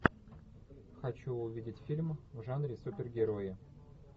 хочу увидеть фильм в жанре супергерои